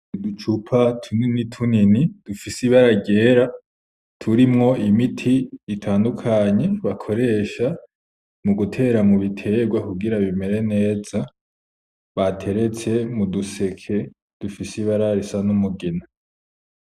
Uducupa tunini tunini, dufise ibara ryera turimwo imiti itandukanye bakoresha mu gutera mu bitegwa kugira bimere neza, bateretse m'uduseke dufise ibara risa n'umugina.